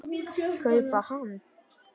kaupa hann.